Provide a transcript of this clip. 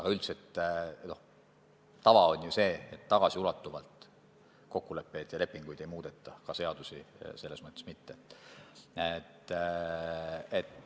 Kuid üldiselt on ju tavaks, et tagasiulatuvalt kokkuleppeid ja lepinguid ei muudeta, ka seadusi selles mõttes mitte.